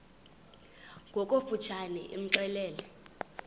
ngokofu tshane imxelele